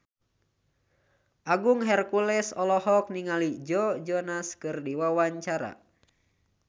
Agung Hercules olohok ningali Joe Jonas keur diwawancara